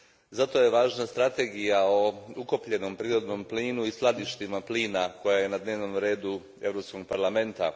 Zato je važna strategija o ukapljenom prirodnom plinu i skladištima plina koja je na dnevnom redu Europskog parlamenta.